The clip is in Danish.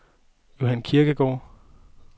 Johan Kirkegaard